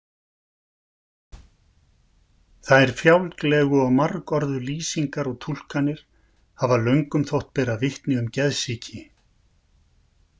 Þær fjálglegu og margorðu lýsingar og túlkanir hafa löngum þótt bera vitni um geðsýki.